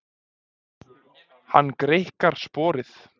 Hann greikkar sporið.